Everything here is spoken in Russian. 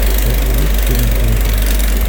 у тебя есть фильм линкольн